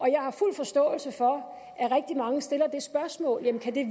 jeg har fuld forståelse for at rigtig mange stiller spørgsmålet kan det